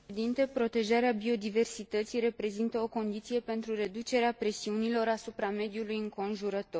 Protejarea biodiversității reprezintă o condiție pentru reducerea presiunilor asupra mediului înconjurător.